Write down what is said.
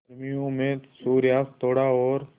गर्मियों में सूर्यास्त थोड़ा और